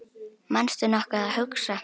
manstu nokkuð að hugsa